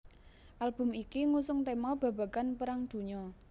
Album iki ngusung tèma babagan Perang Dunya